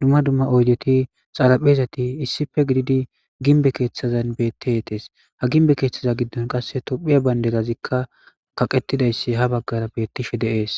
dumma dumma oydeti xalaphezati issife gididi ginbe keeththazan bettietes ha ginbe keeththaza giddon qasse tophiya baynderazikka kaqettidayssi ha baggara beettishe de7ees.